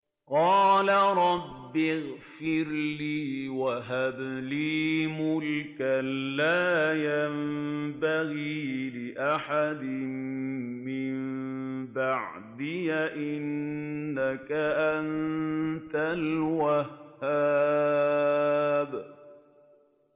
قَالَ رَبِّ اغْفِرْ لِي وَهَبْ لِي مُلْكًا لَّا يَنبَغِي لِأَحَدٍ مِّن بَعْدِي ۖ إِنَّكَ أَنتَ الْوَهَّابُ